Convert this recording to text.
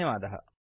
धन्यवादः